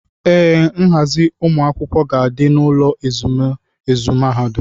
Ee, nghazi ụmụ akwụkwọ ga-adị n'ụlọ ezumezu mahadum.